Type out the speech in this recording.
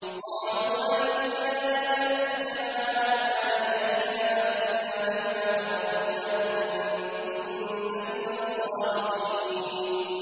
قَالُوا أَجِئْتَنَا لِتَأْفِكَنَا عَنْ آلِهَتِنَا فَأْتِنَا بِمَا تَعِدُنَا إِن كُنتَ مِنَ الصَّادِقِينَ